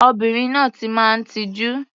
Obìnrin náà ti máa ń tijú.